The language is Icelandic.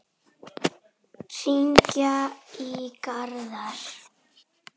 Hringi í Garðar.